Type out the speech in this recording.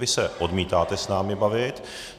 Vy se odmítáte s námi bavit.